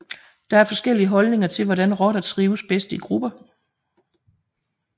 Der er forskellige holdninger til hvordan rotter trives bedst i grupper